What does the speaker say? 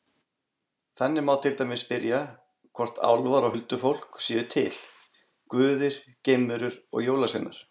Þannig má til dæmis spyrja hvort álfar og huldufólk séu til, guðir, geimverur og jólasveinar.